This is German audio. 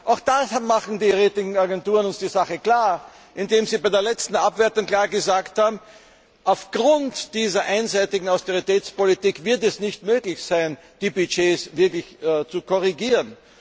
Auch da machen die Ratingagenturen uns die Sache klar, indem sie bei der letzten Abwertung klar gesagt haben Aufgrund dieser einseitigen Austeritätspolitik wird es nicht möglich sein, die Budgets wirklich zu korrigieren.